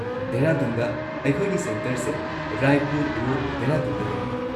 ꯗꯦꯍꯔꯥꯗꯨꯟꯗ ꯑꯩꯈꯣꯏꯒꯤ ꯁꯦꯟꯇꯔꯁꯦ ꯔꯥꯏꯄꯨꯔ ꯔꯣꯗ, ꯗꯦꯍꯔꯥꯗꯨꯟꯗ ꯂꯩ꯫